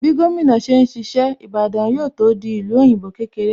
Bí gómìnà ṣe ń ṣiṣẹ́, Ìbàdàn yóò tó di ìlú òyìnbó kékeré